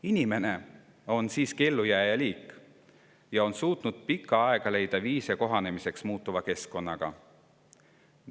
Inimene on siiski ellujääja liik, kes on suutnud juba pikka aega leida viise muutuva keskkonnaga kohanemiseks.